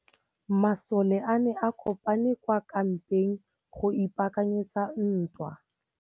Masole a ne a kopane kwa kampeng go ipaakanyetsa ntwa.